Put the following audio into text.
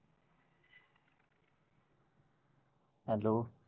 hello